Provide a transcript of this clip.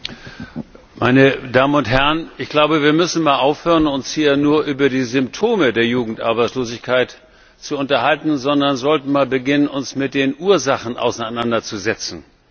Frau Präsidentin, meine Damen und Herren! Wir müssen einmal aufhören, uns hier nur über die Symptome der Jugendarbeitslosigkeit zu unterhalten, sondern sollten beginnen, uns mit den Ursachen auseinanderzusetzen.